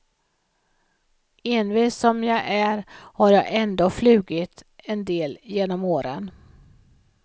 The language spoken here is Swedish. Envis som jag är har jag ändå flugit en del genom åren.